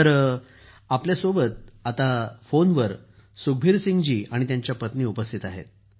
आमच्यासोबत आता फोन वर सुखबीर सिंह आणि त्यांच्या पत्नी उपस्थित आहेत